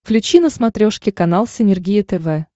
включи на смотрешке канал синергия тв